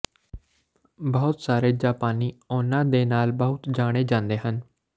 ਬਹੁਤ ਸਾਰੇ ਜਾਪਾਨੀ ਉਹਨਾਂ ਦੇ ਨਾਲ ਬਹੁਤ ਜਾਣੇ ਜਾਂਦੇ ਹਨ